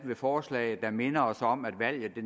ved forslaget der minder os om at valget